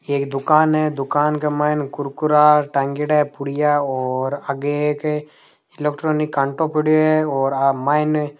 एक दुकान है दुकान के मायने कुरकुरा टांग्योड़ो है पुड़िया और आगे एक इलेक्ट्रॉनिक काँटों पड़यो है और आ मायने --